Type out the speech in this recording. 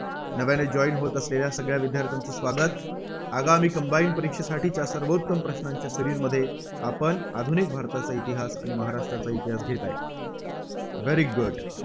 नव्याने join होत असलेल्या सगळ्या विद्यार्थ्यांचे स्वागत. आगामी combine परीक्षेसाठीच्या सर्वोत्तम प्रश्नांच्या Series मध्ये आपण आधुनिक भारताचा इतिहास महाराष्ट्राचा इतिहास घेत आहे. very good